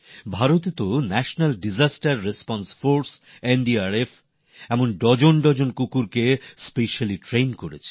ভারতে তো জাতীয় বিপর্যয় মোকাবিলা বাহিনী এনদি আর এফএ এমন ডজন ডজন কুকুরকে বিশেষভাবে প্রশিক্ষণ দেওয়া হয়েছে